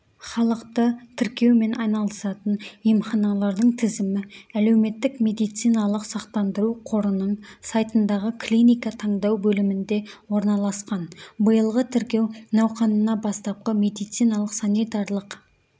халықты тіркеумен айналысатын емханалардың тізімі әлеуметтік медициналық сақтандыру қорының сайтындағы клиника таңдау бөлімінде орналасқан биылғы тіркеу науқанына бастапқы медициналық-санитарлық